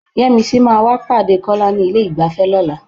Yẹ́misí máa wá pàdé Kọ́lá ní ilé-ìgbafẹ́ lọ́la.